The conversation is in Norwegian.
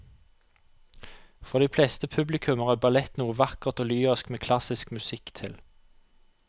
For de fleste publikummere er ballett noe vakkert og lyrisk med klassisk musikk til.